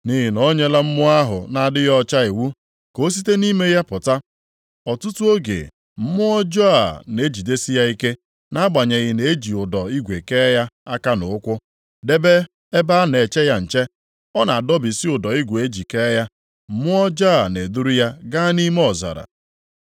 Nʼihi na o nyela mmụọ ahụ na-adịghị ọcha iwu ka o site nʼime ya pụta. Ọtụtụ oge, mmụọ ọjọọ a na-ejidesi ya ike, nʼagbanyeghị na eji ụdọ igwe kee ya aka na ụkwụ, debe ebe a na-eche ya nche, ọ na-adọbisi ụdọ igwe e ji kee ya, mmụọ ọjọọ a na-eduru ya gaa nʼime ọzara.